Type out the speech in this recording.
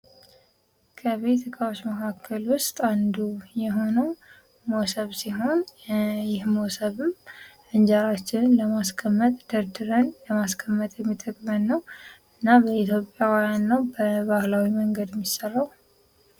ከቤት እቃወች መካከል ውስጥ አንዱ የሆነው ሞሰብ ሲሆን ይህ ሞሰብም እንጀራችንን ለማስቀመጥ ደርደን ለማስቀመጥ የሚጠቅመን ነው ።እና የኢትዮጵያውያን ነው በባህላዊ መንገድ የሚሠራው።